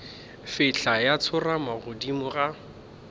fihla ya tsorama godimo ga